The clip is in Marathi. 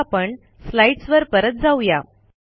आता आपण स्लाईडसवर परत जाऊ या